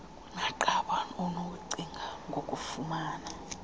kunakuqala unokucinga ngokufumana